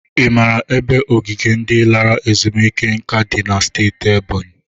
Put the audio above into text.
I mara ebe ogige ndị lara ezumike nka dị na steeti Ebonyi?